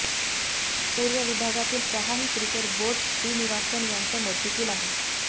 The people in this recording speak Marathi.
पूर्व विभागातील सहाही क्रिकेट बोर्ड श्रीनिवासन यांच्या मर्जीतील आहेत